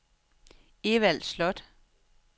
Evald Slot